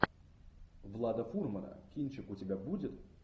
влада фурмана кинчик у тебя будет